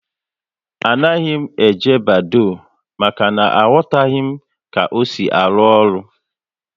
Anaghị m eji Badoo, maka na aghotaghi m ka ọ sị arụ ọrụ